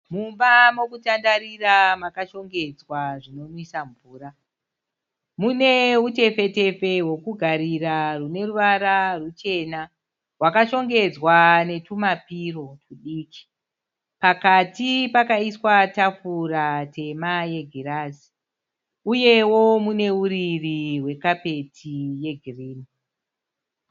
Mumba mekutandarira makashongedzwa zvinonwisa mvura. Mune hutepfe tepfe hwekugarira hune ruvara ruchena. Wakashongedzwa netuma piro tudiki. Pakati pakaiswa tafura tema yegirazi, uyewo mune uriri hwe kapeti ye gireyi.